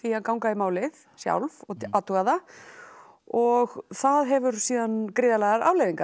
að ganga í málið sjálf og athuga það og það hefur síðan gríðarlegar afleiðingar